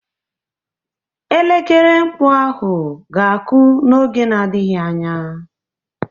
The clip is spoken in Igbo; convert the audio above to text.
Elekere mkpu ahụ ga-akụ n'oge na-adịghị anya.